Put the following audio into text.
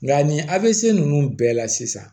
Nka nin avc ninnu bɛɛ la sisan